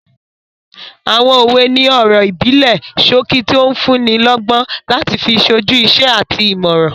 Àwọn òwe ni ọ̀rọ̀ ìbílẹ̀ sókí tó n fúnni lọ́gbọ́n láti fi sójú iṣẹ́ àti ìmọràn